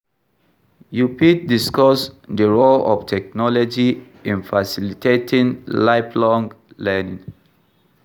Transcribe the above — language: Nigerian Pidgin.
you fit discuss dey role of technology in facilitating lifelong learning.